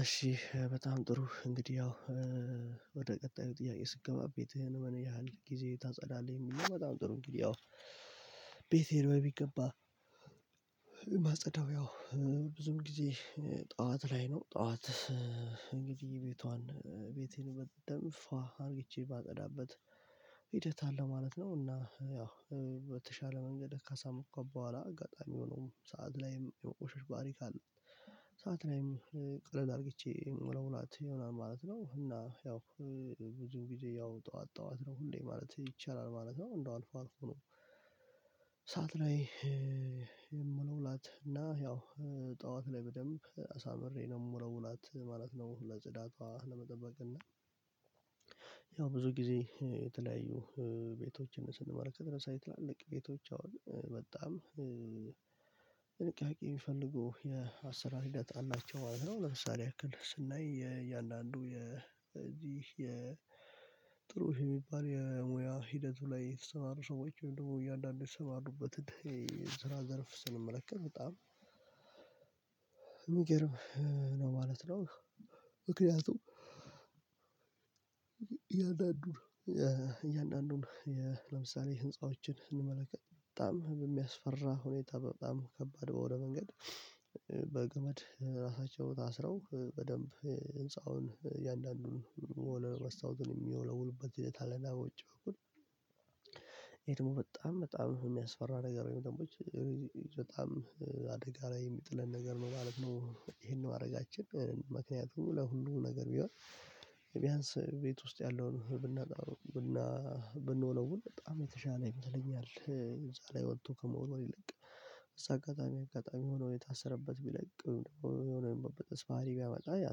እሺ በጣም ጥሩ እንግዲህ ያው ወደ ቀጣዩ ጥያቄ ስንገባ ቤትህን በምን ያህል ጊዜ ታጸዳለህ? የሚል ነው በጣም ጥሩ እንግዲህ ያው ቤቴ ሄዶ ቢገባ ማጸዳው ያው ብዙም ጊዜ ጠዋት ላይ ነው። ጠዋት እንግዲህ ቤቴን በደንብ ፏ አርግቼ ማጸዳበት ሂደት አለ ማለት ነው እና ያው በተሻለ መንገድ ከሰዐት በኋላ አጋጣሚ ሆኖም ሰዓት ላይም የመቆሸሽ ባህሪ ካለ ሰዓት ላይም ቀለል አርግቼ ምለውላት ይሆናል ማለት ነው። እና ያው ብዙ ጊዜ ያው ጠዋት ጠዋት ነው ሁሌ ማለት ይቻላል ማለት ነው እንደው አልፎ አልፎ ነው ከሰአት ላይ የምወለውላት እና ያው ጠዋት ላይ በደንብ አሳምሬ ነው የምሞላውላት ማለት ነው። ለጽዳቷ ለመጠበቅ እና ያው ብዙ ጊዜ የተለያዩ ቤቶችን ስንመለከት ለምሳሌ ትላለቀ ቤቶች አሁን በጣም ጥንቃቄ የሚፈልጉ የአስራር ሂደት አላቸው ማለት ነው። ለምሳሌ ይህል ስናይ የእያንዳንዱ የዚህ ጥሩ የሚባል የሙያ ሂደቱ ላይ የተሰማሩ ሰዎች ወይም ደግሞ እያንዳንዱ የተሰማሩበትን የስራ ዘርፍ ስንመለከት በጣም የሚገርም ነው ማለት ነው ምክንያቱም እያንዳንዱን ለምሳሌ ህንፃዎችን ስንመለከት በጣም በሚያስፈራ ሁኔታ በጣም ከባድ ወደ መንገድ በገመድ ራሳቸው ታስረው በደንብ ህንፃውን እያንዳንዱን ወለል መስታወቱን የሚወለውሉበት ሁኔታ አለና በውጪ በኩል ይሄ ደግሞ በጣም በጣም የሚያስፈራ ነገር ነው። ወይም ደግሞ በጣም አደጋ ላይ የሚጥለን ነገር ነው ማለት ነው። ይሄን ማድረጋችን ምክንያቱም ለሁሉም ነገር ቢሆን ቢያንስ ቤት ውስጥ ያለውን ብንወለውል በጣም የተሻለ ይመስለኛል። እዛ ላይ ወጥቶ ከመወርወር ይልቅ እዛ አጋጣሚ አጋጣሚ ሆኖ የታሰረበት ቢለቅ የሆነ የመበጠስ ባህሪ ቢያመጣ ያ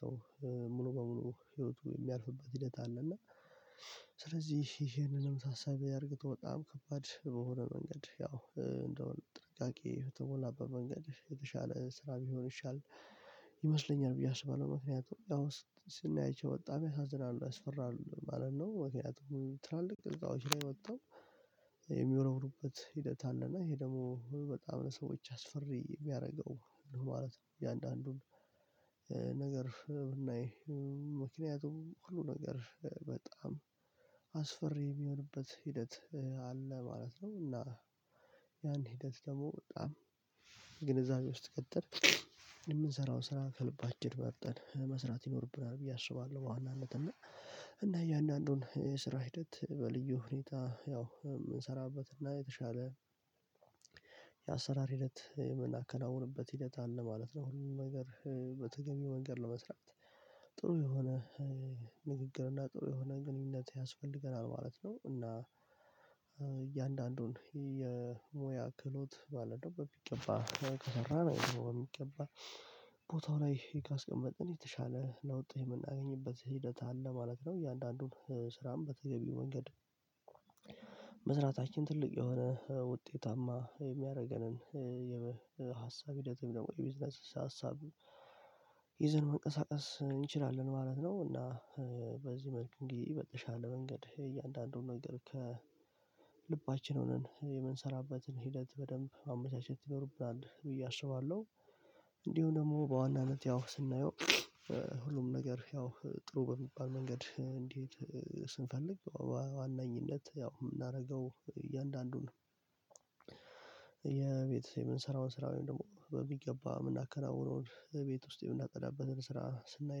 ሰው ሙሉ በሙሉ ህይወቱ የሚያልፍበት ሂደት አለ እና ስለዚህ ይሄንንም ታሳቢ አድርገው በጣም ከባድ በሆነ መንገድ ያው እንደውም ጥንቃቄ በተሞላበት መንገድ የተሻለ ስራ ቢሆን ይሻል ይመስለኛል ብዬ አስባለሁ ምክንያቱም ያው ስናያቸው በጣም ያሳዝናሉ ያስፈራሉ ማለት ነው ምክንያቱም ትላልቅ ህንፃዎች ላይ ወተው የሚወረውሩበት ሂደት አለ እና ይሄ ደግሞ በጣም ለሰዎች አስፈሪ የሚያደርገው ነው ማለት ነው እያንዳንዱን ነገር ብናይ ምክንያቱም ሁሉ ነገር በጣም አስፈሪ የሚሆንበት ሂደት አለ ማለት ነው እና ያን ሂደት ደግሞ በጣም ግንዛቤ ውስጥ ከተን የምንሰራውን ስራ ከልባችን መርጠን መስራት ይኖርብናል ብዬ አስባለሁ በዋናነት እና እና አያንዳንዱን የስራ ሂደት በልዩ ሁኔታ ያው የምንሰራበት እና የተሻለ የአሰራር ሂደት የመናከናውንበት ሂደት አለ ማለት ነው ሁሉም ነገር በተገቢው መንገድ ለመስራት ጥሩ የሆነ ንግግር እና ጥሩ የሆነ ግንኙነት ያስፈልገናል ማለት ነው እና እያንዳንዱን የሙያ ክህሎት ማለትነው በሚገባ ከተሰራ አንዲሁም በሚገባ ቦታው ላይ ካስቀመጥን የተሻለ ለውጥ የምናገኝበት ሂደት አለ ማለት ነው እያንዳንዱን ስራም በተገቢው መንገድ መስራታችን ትልቅ የሆነ ውጤታማ የሚያደርገንን የሀሳብ ሂደት ወይም ደግሞ የቢዝነስ ሀሳብ ይዘን መንቀሳቀስ እንችላለን ማለት ነው እና በዚህ መልኩ አንግዲህ በተሻለ መንገድ እያንዳንዱን ነገር ከ ከልባችን ሆነን የምንሰራበትን ሂደት በደንብ ማመቻቸት ይኖርብናል ብዬ አስባለሁ እንዲሁ ደግሞ በዋናነት ያው ስናየው ሁሉም ነገር ያው ጥሩ በሚባል መንገድ እንድሄድ ስንፈልግ በዋናኝነት ያው የምናደርገው እያንዳንዱን የቤት የምንሰራውን ስራ ወይም ደግሞ በሚገባ የምናከናውነውን የቤት ውስጥ የምናፀዳበትን ስራ ስናይ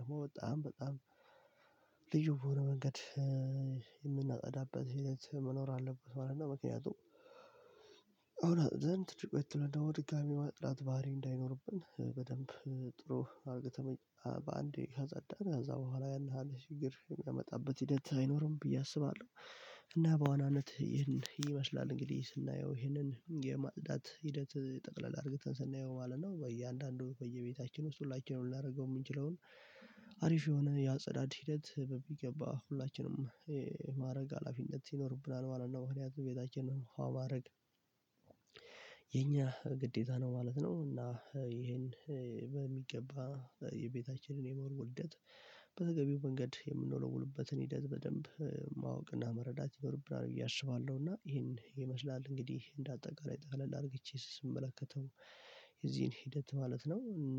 ደግሞ በጣም በጣም ልዩ በሆነ መንገድ የምናፀዳበት ሂደት መኖር አለበት ማለት ነው እና ምክንያቱም አሁን አፅድተን ትንሽ ቆየት ብለን ደግሞ ድጋሜ የማጽዳት ባህሪ አንዳይኖርብን በደንብ ጥሩ አድርገን በአንዴ ካጸዳን ከዛ በኋላ ያን ያህል ችግር የሚያመጣበት ሂደት አይኖርም ብዬ አስባለሁ እና በዋናነት ይህን ይመስላል እንግዲህ ስናየው ይህንን የማጽዳት ሂደት ጠቅለል አድርገን ስናየው ማለት ነው በየአንዳንዱ በየቤታችን ውስጥ ሁላችንም ልናደርገው የምንችለውን አሪፍ የሆነ የአፀዳድ ሂደት በሚገባ ሁላችንም የማድረግ ሀላፊነት ይኖርብናል ማለት ነው ምክንያቱም ቤታችንን ፉአ ማድረግ የኛ ግዴታ ነው ማለት ነው እና ይሄን በሚገባ የቤታችንን የመወልወል ሂደት በተገቢው መንገድ የምንወለውልበትን ሂደት በደንብ ማወቅና መረዳት ይኖርብናል ብዬ አስባለሁ እና ይሄን ይመስላል እንግዲህ እንደ አጠቃላይ ቀለል አድርጌ ስመለከተው የዚህን ሂደት ማለት ነው እና